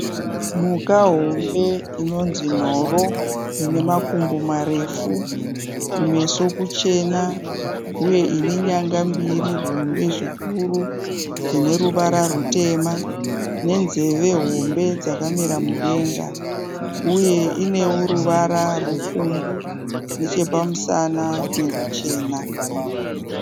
Mhuka hombe inonzi nhoro inemakumbo marefu, kumeso kuchena uye inenyanga mbiri hombe zvikuru dzineruvara rutema nenzeve hombe dzakamira mudenga. Uye inewo ruvara rupfumbu nechepamusana neruchena.